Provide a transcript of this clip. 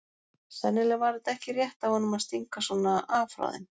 Sennilega var þetta ekki rétt af honum að stinga svona af frá þeim.